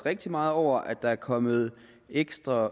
rigtig meget over at der er kommet ekstra